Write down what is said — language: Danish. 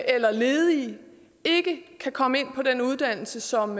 eller ledige ikke kan komme ind på den uddannelse som